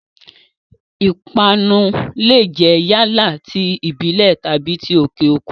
Ìpanu lè jẹ́ yálà ti ìbílẹ̀ tàbí ti òkè òkun.